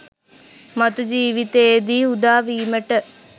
මතු ජීවිතයේදී උදා වීමට